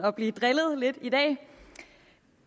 og blive drillet lidt i dag